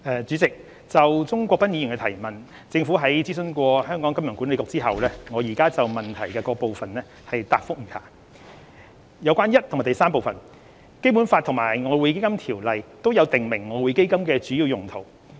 主席，就鍾國斌議員的提問，政府已諮詢香港金融管理局，我現就質詢各部分答覆如下：一及三《基本法》及《外匯基金條例》均有訂明外匯基金的主要用途。